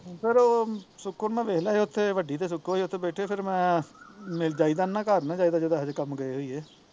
ਫਿਰ ਉਹ ਸੁਖੋ ਨੇ ਦੇਖ ਲਿਆ ਸੀ ਉੱਥੇ ਬੈਠੇ ਵੱਡੀ ਤੇ ਸੁਖੋ ਈ ਆ ਤੇ ਫਿਰ ਮੈਂ ਜਾਇਦਾ ਨੀ ਨਾ ਘਰ ਨੀ ਜਾਇਦਾ ਜਦੋਂ ਏਹਏ ਜਹੇ ਕੰਮ ਗਏ ਹੋਈਏ